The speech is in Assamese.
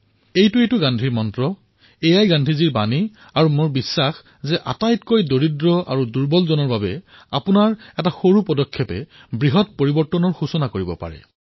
এয়াইতো গান্ধীজীৰ মূলমন্ত্ৰ এয়াইতো গান্ধীজীৰ বাৰ্তা আৰু মোৰ বিশ্বাস যে যি সকলোতকৈ দুৰ্বল মানুহ তেওঁৰ জীৱনত আপোনাৰ এটা সৰু পদক্ষেপে বৃহৎ পৰিণাম কঢ়িয়াই আনিব পাৰে